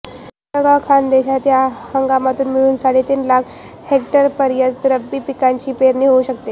जळगाव ः खानदेशात या हंगामात मिळून साडेतीन लाख हेक्टरपर्यंत रब्बी पिकांची पेरणी होऊ शकते